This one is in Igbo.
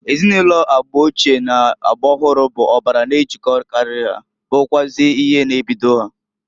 Ezinụlọ agba ochie n'agba ọhụrụ bụ ọbara n'ejilkokarị ha, bụrụkwụazị ihe na-ebido ha.